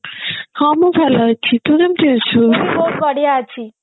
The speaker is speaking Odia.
ହଁ ମୁଁ ଭଲ ଅଛି ତୁ କେମତି ଅଛୁ